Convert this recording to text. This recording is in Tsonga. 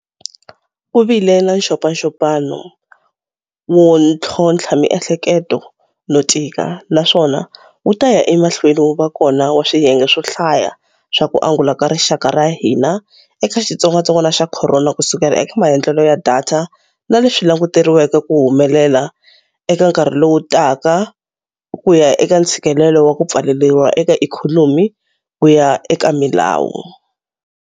Ku vile na nxopanxopano wo ntlhontlha miehleketo no tika, naswona wu ta ya emahlweni wu va kona wa swiyenge swo hlaya swa ku angula ka rixaka ra hina eka xitsongwatsongwana xa corona ku sukela eka maandlalelo ya data na leswi languteriwaka ku humelela eka nkarhi lowu taka ku ya eka ntshikelelo wa ku pfaleriwa eka ikhonomi ku ya eka milawu.